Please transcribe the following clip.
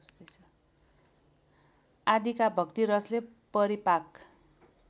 आदिका भक्तिरसले परिपाक